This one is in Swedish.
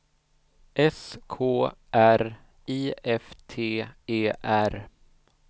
S K R I F T E R